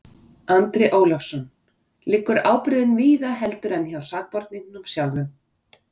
Andri Ólafsson: Liggur ábyrgðin víðar heldur en hjá sakborningnum sjálfum?